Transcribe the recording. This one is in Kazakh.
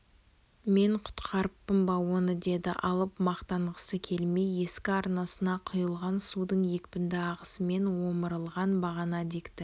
мен құтқарыппын ба оны деді алып мақтанғысы келмей ескі арнасына құйылған судың екпінді ағысымен омырылған бағана дикті